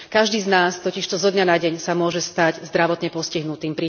Každý z nás totižto zo dňa na deň sa môže stať zdravotne postihnutým.